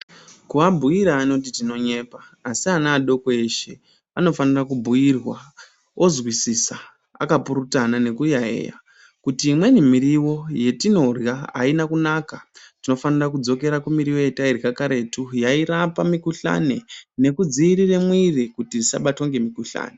Kuabhuira anoti tinonyepa, asi ana adoko eshe anofanira kubhuirwa ozwisisa akapurutana nekuyaeya kuti imweni miriwo yetinorya aina kunaka. Tinofanira kudzokera kumiriwo yedu yetairya karetu yairapa mikhuhlani nekudziirire mwiri kuti isabatwe ngemikhuhlani.